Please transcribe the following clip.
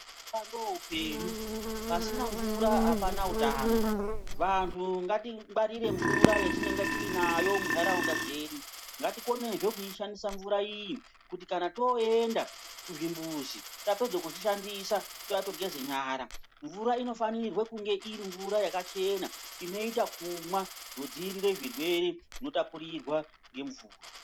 Mvura ndoupenyu. Pasina mvura hapana utano. Vantu ngatingwarire mvura yatinenge tinayo muntaraunda dzedu. Ngatikonezve kuishandisa mvura iyi kuti kana toenda kuzvimbuzi tapedza kuzvishandisa touya togeze nyara. Mvura inofanirwe kunge iri mvura yakachena inoita kumwa zvodziirire zvirwere zvinotapurirwa ngemvura.